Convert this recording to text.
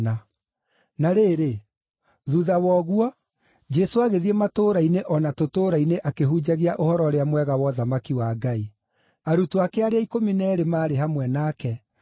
Na rĩrĩ, thuutha wa ũguo, Jesũ agĩthiĩ matũũra-inĩ o na tũtũũra-inĩ akĩhunjagia Ũhoro-ũrĩa-Mwega wa ũthamaki wa Ngai. Arutwo ake arĩa ikũmi na eerĩ maarĩ hamwe nake,